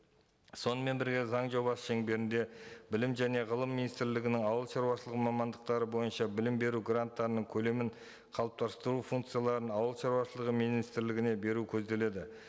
сонымен бірге заң жобасы шеңберінде білім және ғылым министрлігінің ауылшаруашылығы мамандықтары бойынша білім беру гранттарының көлемін қалыптастыру функцияларын ауылшаруашылығы министрлігіне беру көзделеді